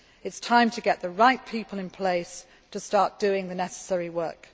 It is time to get the right people in place to start doing the necessary